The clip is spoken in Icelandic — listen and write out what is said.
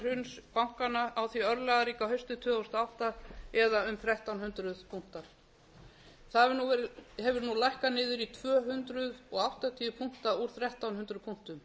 hruns bankanna á því örlagaríka hausti tvö þúsund og átta eða um þrettán hundruð punktar það hefur nú lækkað niður í tvö hundruð áttatíu punkta úr þrettán hundruð punktum